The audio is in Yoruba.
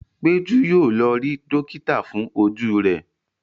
Peju yíò lọ rí dókítà fún Ojú rẹ.